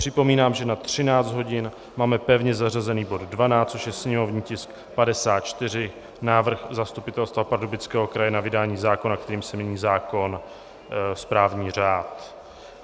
Připomínám, že na 13 hodin máme pevně zařazený bod 12, což je sněmovní tisk 54, návrh Zastupitelstva Pardubického kraje na vydání zákona, kterým se mění zákon - správní řád.